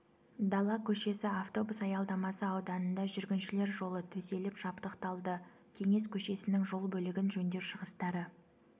дала көшесі автобус аялдамасы ауданында жүргіншілер жолы төселіп жабдықталды кеңес көшесінің жол бөлігін жөндеу шығыстары